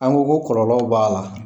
An go ko kɔlɔlɔw b'a la.